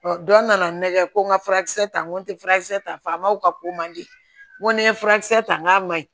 dɔ nana nɛgɛ ko n ka furakisɛ ta n ko n tɛ furakisɛ ta faamaw ka ko man di n ko ni n ye furakisɛ ta n k'a ma ɲi